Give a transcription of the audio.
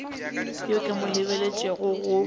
yo ke mo lebeletšego go